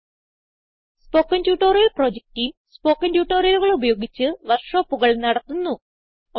spoken tutorial project team spoken ട്യൂട്ടോറിയലുകൾ ഉപയോഗിച്ച് വർക്ക് ഷോപ്പുകൾ നടത്തുന്നു